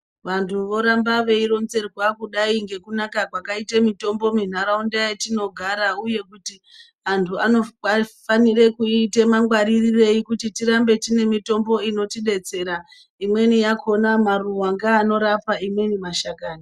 Vantu voramba veironzerwa kudai ngekunaka kwakaite mitombo mintaraunda yatinogara uye kuti antu vafu anofanira kuita mangwarirei kuti tirambe tiine mitombo inotidetsera imweni yakhona maruwa ngeanorapa imweni mashakani.